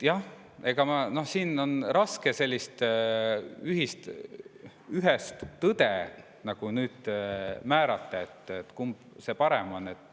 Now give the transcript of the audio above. Jah, siin on raske määratleda ühest tõde, kumb parem on.